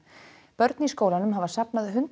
börn í skólanum hafa safnað hundrað